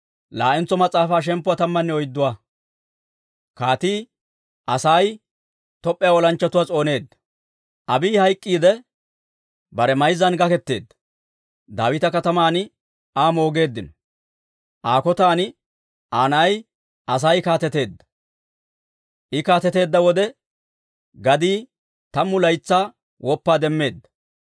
Abiiyi hayk'k'iidde, bare mayzzan gaketeedda; Daawita Kataman Aa moogeeddino. Aa kotan Aa na'ay Asay kaateteedda. I kaateteedda wode gadii tammu laytsaa woppaa demmeedda.